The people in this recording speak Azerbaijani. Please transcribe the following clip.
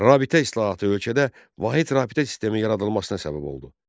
Rabitə islahatı ölkədə vahid rabitə sistemi yaradılmasına səbəb oldu.